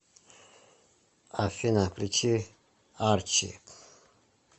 афина включи арчи